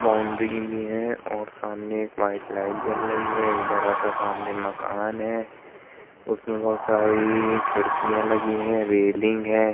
है और सामने एक वाइट लाइट जल रही है। एक बड़ा सा सामने मकान है। उसमे बोहोत सारी खिडकियां लगी हैं रेलिंग है।